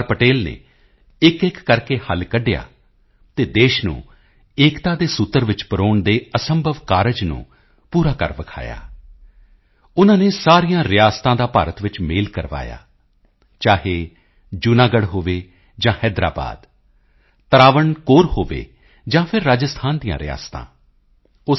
ਪਟੇਲ ਨੇ ਇੱਕਇੱਕ ਕਰਕੇ ਹੱਲ ਕੱਢਿਆ ਅਤੇ ਦੇਸ਼ ਨੂੰ ਏਕਤਾ ਦੇ ਸੂਤਰ ਵਿੱਚ ਪਰੋਣ ਦੇ ਅਸੰਭਵ ਕਾਰਜ ਨੂੰ ਪੂਰਾ ਕਰ ਵਿਖਾਇਆ ਉਨ੍ਹਾਂ ਨੇ ਸਾਰੀਆਂ ਰਿਆਸਤਾਂ ਦਾ ਭਾਰਤ ਵਿੱਚ ਮੇਲ ਕਰਵਾਇਆ ਚਾਹੇ ਜੂਨਾਗੜ੍ਹ ਹੋਵੇ ਜਾਂ ਹੈਦਰਾਬਾਦ ਤਰਾਵਣਕੋਰ ਹੋਵੇ ਜਾਂ ਫਿਰ ਰਾਜਸਥਾਨ ਦੀਆਂ ਰਿਆਸਤਾਂ ਉਹ ਸ